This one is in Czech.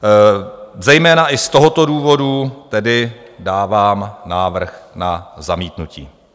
Zejména i z tohoto důvodu tedy dávám návrh na zamítnutí.